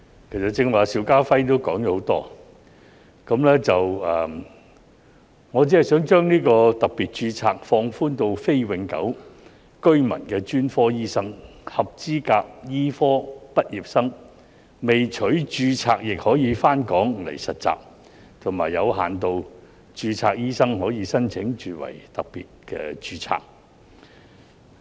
其實剛才邵家輝議員也說了很多，我只想把特別註冊放寬至非永久性居民的專科醫生、合資格醫科畢業生未取註冊亦可回港實習，以及有限度註冊醫生可申請轉為特別註冊。